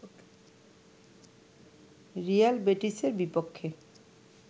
Real বেটিসের বিপক্ষে